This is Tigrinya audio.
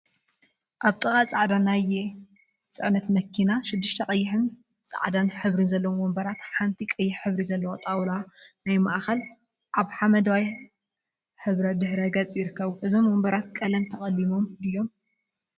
አብ ጥቃ ፃዕዳ ናየ ፅዕነት መኪና ሽዱሽተ ቀይሕን ፃዕዳን ሕብሪ ዘለዎም ወንበራትን ሓንቲ ቀይሕ ሕብሪ ዘለዋ ጣውላ ናይ ማእከልን አብ ሓመደዋይ ሕብሪ ድሕረ ገፅ ይርከቡ፡፡ እዞም ወንበራት ቀለም ተቀሊሞም ድዮም?